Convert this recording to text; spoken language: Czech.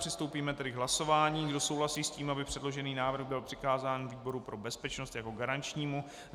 Přistoupíme tedy k hlasování, kdo souhlasí s tím, aby předložený návrh byl přikázán výboru pro bezpečnost jako garančnímu.